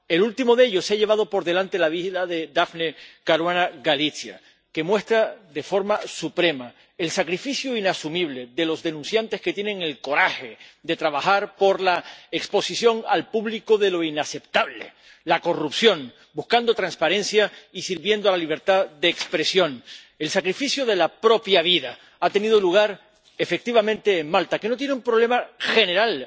El último de ellos se ha llevado por delante la vida de Daphne Caruana Galizia, lo que muestra de forma suprema el sacrificio inasumible de los denunciantes que tienen el coraje de trabajar por la exposición al público de lo inaceptable, la corrupción, buscando transparencia y sirviendo a la libertad de expresión. El sacrificio de la propia vida ha tenido lugar, efectivamente, en Malta, que no tiene un problema general